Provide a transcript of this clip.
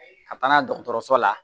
Ka taa n'a ye dɔgɔtɔrɔso la